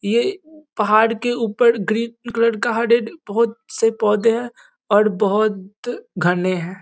ये पहाड़ के ऊपर ग्रीन कलर का एक बहोत से पौधे है और बहोत घने हैं।